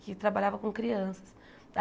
Que trabalhava com crianças.